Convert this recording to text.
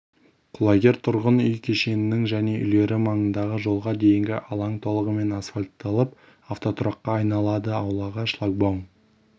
құлагер тұрғын үй кешенінің және үйлері маңындағы жолға дейінгі алаң толығымен асфальтталып автотұраққа айналады аулаға шлагбаум